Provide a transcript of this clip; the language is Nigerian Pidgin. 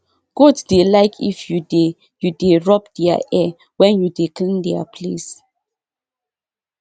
goat dey like if you dey you dey rub their ear wen you dey clean their place